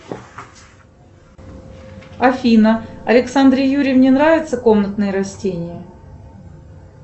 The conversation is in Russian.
афина александре юрьевне нравятся комнатные растения